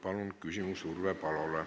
Palun küsimus Urve Palole!